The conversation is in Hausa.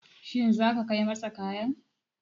Shin zaka kai masa kayan?